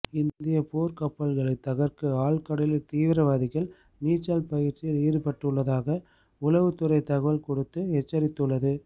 இந்திய போர்கப்பல்களை தகர்க்க ஆழ்கடலில் தீவிரவாதிகள் நீச்சல் பயிற்சியில் ஈடுபட்டுள்ளதாக உளவுத்துறை தகவல் கொடுத்து எச்சரித்துள்ளது